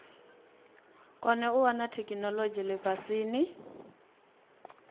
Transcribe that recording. kone u wana theikinolodzhi lifhasini